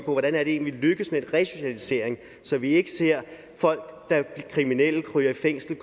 hvordan er det egentlig vi lykkes med en resocialisering så vi ikke ser folk der er kriminelle ryger i fængsel